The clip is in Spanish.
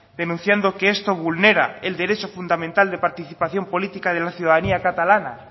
denunciando que esto vulnera el derecho fundamental de participación política de la ciudadanía catalana